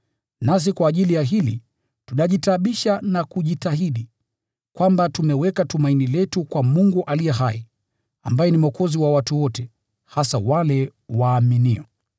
(nasi kwa ajili ya hili tunajitaabisha na kujitahidi), kwamba tumeweka tumaini letu kwa Mungu aliye hai, ambaye ni Mwokozi wa watu wote, hasa wale waaminio.